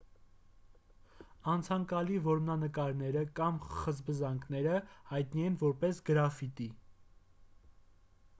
անցանկալի որմնանկարները կամ խզբզանքները հայտնի են որպես գրաֆիտի